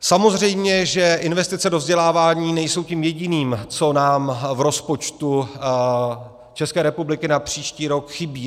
Samozřejmě že investice do vzdělávání nejsou tím jediným, co nám v rozpočtu České republiky na příští rok chybí.